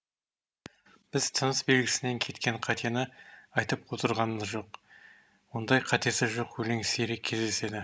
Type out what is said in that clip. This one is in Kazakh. біз тыныс белгісінен кеткен қатені айтып отырғамыз жоқ ондай қатесі жоқ өлең сирек кездеседі